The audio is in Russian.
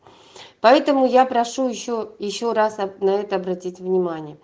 поэтому я прошу ещё ещё раз на на это обратить внимание